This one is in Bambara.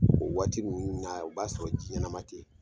O waati ninnu na o b'a sɔrɔ ji ɲɛnama tɛ ye.